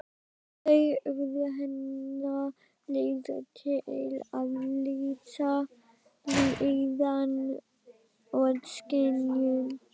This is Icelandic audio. Þau urðu hennar leið til að lýsa líðan og skynjun.